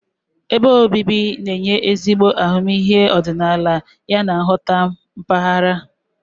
Ebe obibi na-enye ezigbo ahụmịhe ọdịnala yana nghọta mpaghara.